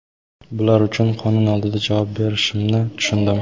Bular uchun qonun oldida javob berishimni tushundim.